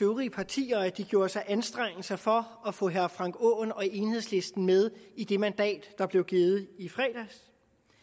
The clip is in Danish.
øvrige partier at de gjorde sig anstrengelser for at få herre frank aaen og enhedslisten med i det mandat der blev givet i fredags